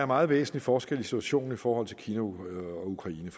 meget væsentlig forskel i situationen i forhold til kina og ukraine